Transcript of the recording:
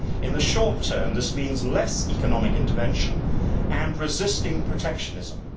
In the short term, this means less economic intervention, and resisting protectionism.